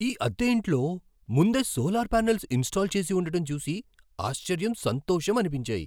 ఈ అద్దె ఇంట్లో ముందే సోలార్ పానెల్స్ ఇన్స్టాల్ చేసి ఉండటం చూసి ఆశ్చర్యం, సంతోషం అనిపించాయి.